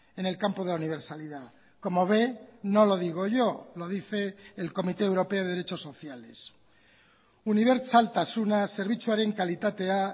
en el campo de la universalidad como ve no lo digo yo lo dice el comité europeo de derechos sociales unibertsaltasuna zerbitzuaren kalitatea